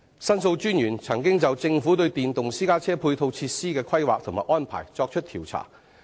申訴專員公署曾經就政府對電動私家車配套設施的規劃及安排進行調查。